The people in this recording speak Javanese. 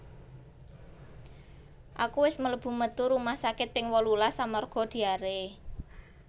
Aku wis melebu metu rumah sakit ping wolulas amarga diare